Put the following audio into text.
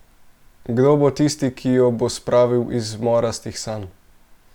Kdo bo tisti, ki jo bo spravil iz morastih sanj?